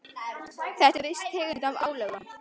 Þetta er viss tegund af álögum.